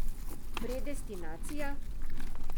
Predestinacija?